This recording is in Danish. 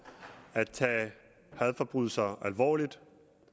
at tage hadforbrydelser alvorligt